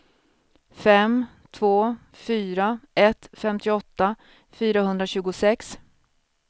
fem två fyra ett femtioåtta fyrahundratjugosex